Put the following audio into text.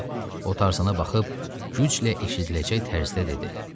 O tarzına baxıb güclə eşidiləcək tərzdə dedi.